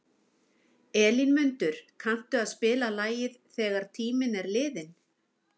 Elínmundur, kanntu að spila lagið „Þegar tíminn er liðinn“?